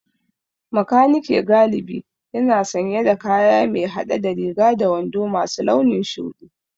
Makaniki galibi yana sanye da kaya mai hade da riga da wando masu launin shudi